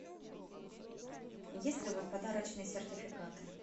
есть ли у вас подарочные сертификаты